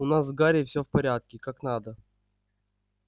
у нас с гарри всё в порядке как надо